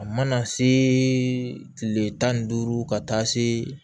A mana se kile tan ni duuru ka taa se